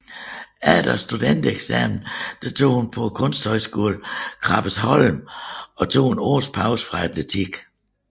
Efter studentereksamen tog hun på Kunsthøjskolen Krabbesholm og tog et års pause fra atletikken